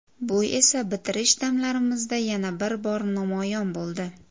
Bu esa bitirish damlarimizda yana bir bor namoyon bo‘ldi.